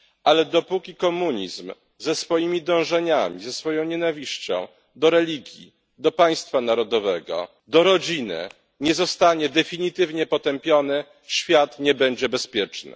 Ale dopóki komunizm ze swoimi dążeniami, ze swoją nienawiścią do religii, do państwa narodowego, do rodziny nie zostanie definitywnie potępiony, świat nie będzie bezpieczny.